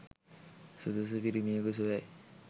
සුදුසු පිරිමියෙකු සොයයි